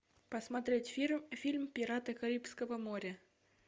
посмотреть фильм пираты карибского моря